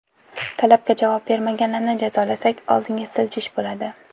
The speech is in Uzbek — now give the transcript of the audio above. Talabga javob bermaganlarni jazolasak, oldinga siljish bo‘ladi.